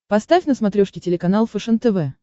поставь на смотрешке телеканал фэшен тв